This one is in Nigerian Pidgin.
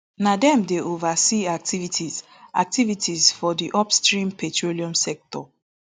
na dem dey oversee activities activities for di upstream petroleum sector